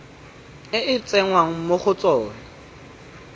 e tsengwang mo go tsona